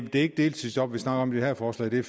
det ikke deltidsjob vi snakker om i det her forslag det er